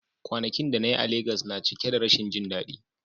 Kwanakin da na yi a Legas na cike da rashin jin daɗi.